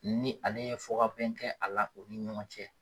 Ni ale ye fɔkabɛn kɛ a la o ni ɲɔgɔn cɛ.